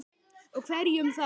Og hverjum þá?